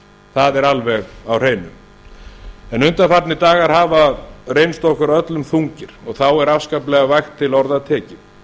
það er alveg á hreinu undanfarnir dagar hafa reynst okkur öllum þungir og þá er afskaplega vægt til orða tekið